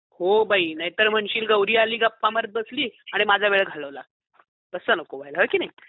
हो बाई नाही तर म्हणशील गौरी आली आणि गप्पा मारत बसली आणि माझा वेळ घालवला, तस नको व्हायला हो की नाही ?